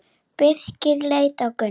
Birkir leit á Gunnar.